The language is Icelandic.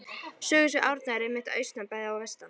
Sögusvið Árna er einmitt að austan bæði og vestan